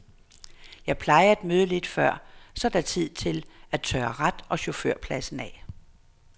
Jeg plejer at møde lidt før, så er der tid til at tørre rat og chaufførpladsen af.